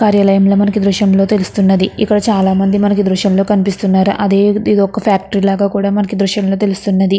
కార్యాలయంలో మనకి దృశ్యంలో తెలుస్తున్నది ఇక్కడ చాలామంది మనకి దృశ్యంలో కనిపిస్తున్నారు అదే ఇది ఒక్క ఫ్యాక్టరీ లాగా కూడా మనకి దృశ్యంలో తెలుస్తున్నది.